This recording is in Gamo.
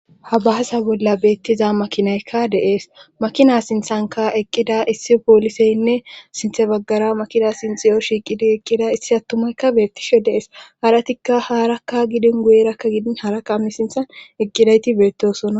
Ha bahasa bolla beettiza makinaykka deees makina sinthanka eqqida issi pooliseynne sinthe baggara makina sinxiyo shiiqidi eqqida issi attumaykka beettishe deees haratikka haarakka gidin guyerakka gidin haarakka ammi sinthan eqqidayti beettosona